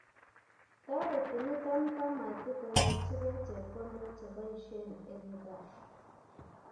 toteti niton kamatik konyorchige chepkondok cheboisien en gaa